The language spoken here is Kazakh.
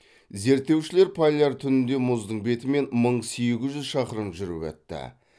зерттеушілер поляр түнінде мұздың бетімен мың сегіз жүз шақырым жүріп өтті